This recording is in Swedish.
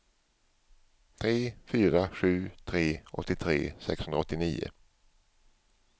tre fyra sju tre åttiotre sexhundraåttionio